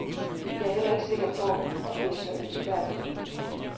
Jeg er heller ikke sikker på, at det er så ønskværdigt.